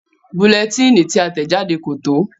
Bulẹtíìnì tí a tẹ̀ jáde kò tó.